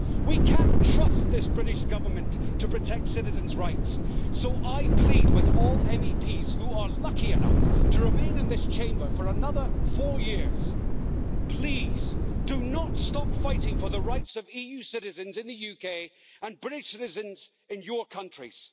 We can't trust this British Government to protect citizens' rights, so I plead with all MEPs who are lucky enough to remain in this Chamber for another four years please, do not stop fighting for the rights of EU citizens in the UK and British citizens in your countries.